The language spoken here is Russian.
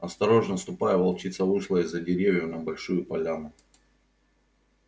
осторожно ступая волчица вышла из-за деревьев на большую поляну